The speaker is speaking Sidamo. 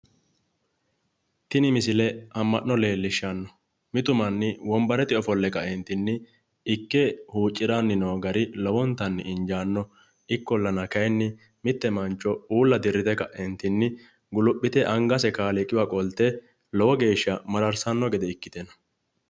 tini misile amma'no leellishshanno mitu manni wonbarete ana ofolle kaeentinni ikke huucciranni noo gari lowontanni injaanno ikkollana kayiinni mitte mancho uulla dirrite ka'eentinni guluphite angase kaaliiqiwa qolte lowo geeshsha mararsanno gede ikkite no.